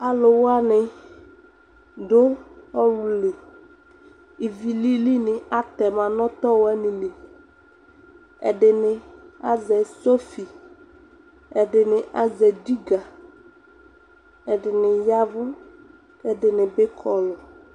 alo wani do ɔwlù li ivi lili atɛma no ɔtɔ wani li ɛdini azɛ sofi ɛdi ni azɛ jiga ɛdi ni yavo ko ɛdini bi kɔlù